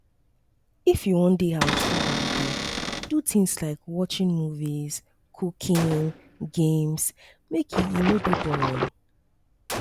if you won de house do holiday do things like watching movies cooking games make e e no de boring